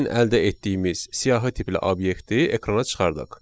Gəlin əldə etdiyimiz siyahı tipli obyekti ekrana çıxardaq.